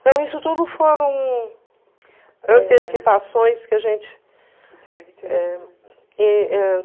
Então isso tudo foram antecipações que a gente... Isso é muito interessante. E ãh